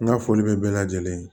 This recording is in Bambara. N ka foli bɛ bɛɛ lajɛlen ye